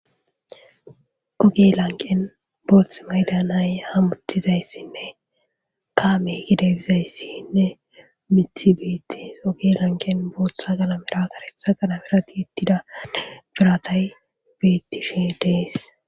Oge lanqqen booththi mayiza nay hummutizayssinne kaame yidayssine miththi beetees. Ogera lanqqen booththa qalamera kareththa qalamera tiyetidanne biratay beetishe de7ees.